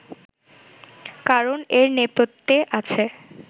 কারণ এর নেপথ্যে আছে